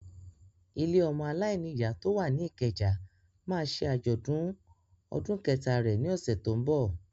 Ilé ọmọ aláìní ìyá tó wà ní Ìkẹjà máa ṣe àjọ̀dún ọdún kẹta rẹ̀ ni ọ̀sẹ̀ tó ń bọ̀.